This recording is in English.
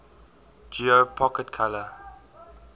geo pocket color